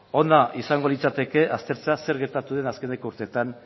ona izango litzateke aztertzea zer gertatu den azkeneko urteetan